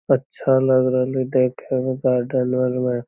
अच्छा लग रहले देखे में गार्डन अर में।